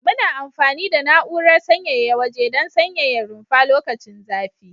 Muna amfani da na'urar sanyaya waje don sanyaya rumfa lokacin zafi.